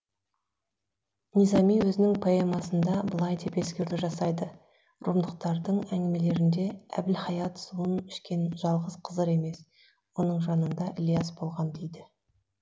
низами өзінің поэмасында былай деп ескерту жасайды румдықтардың әңгімелерінде әбілхаят суын ішкен жалғыз қызыр емес оның жанында ілияс болған дейді